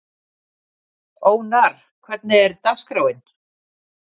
Ónarr, hvernig er dagskráin?